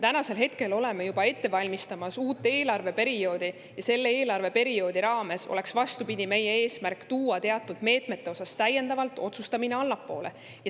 Me oleme juba ette valmistamas uut eelarveperioodi ja selle raames on meie eesmärk, vastupidi, tuua teatud meetmete puhul täiendavalt otsustamist allapoole.